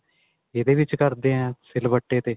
ਇਹਦੇ ਵਿੱਚ ਕਰਦੇ ਆਂ ਸਿਲਵੱਟੇ ਤੇ